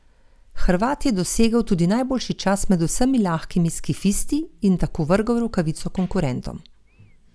Hrvat je dosegel tudi najboljši čas med vsemi lahkimi skifisti in tako vrgel rokavico konkurentom.